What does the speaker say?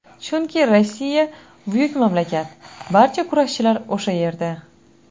Chunki Rossiya buyuk mamlakat, barcha kurashchilar o‘sha yerda.